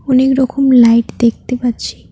অনেক রকম লাইট দেখতে পাচ্ছি।